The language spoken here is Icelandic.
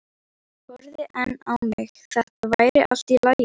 horfði enn á mig- þetta væri allt í lagi.